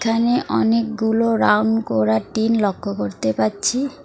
এখানে অনেকগুলো রাউন্ড করা টিন লক্ষ্য করতে পারছি।